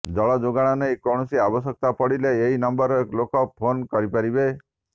ଜଳଯୋଗାଣ ନେଇ କୌଣସି ଆବଶ୍ୟକତା ପଡିଲେ ଏହି ନମ୍ବରରେ ଲୋକେ ଫୋନ୍ କରିପାରିବେ